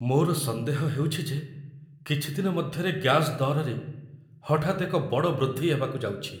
ମୋର ସନ୍ଦେହ ହେଉଛି ଯେ କିଛି ଦିନ ମଧ୍ୟରେ ଗ୍ୟାସ୍ ଦରରେ ହଠାତ୍ ଏକ ବଡ଼ ବୃଦ୍ଧି ହେବାକୁ ଯାଉଛି।